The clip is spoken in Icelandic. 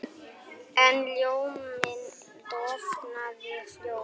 En ljóminn dofnaði fljótt.